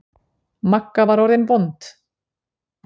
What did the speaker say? Magga var orðin vond.